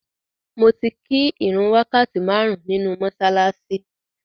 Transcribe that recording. Mo ti kí ìrun wákàtí márùn-ún nínu mọ́ṣáláṣí.